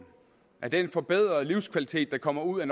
af den forbedrede livskvalitet der kommer ud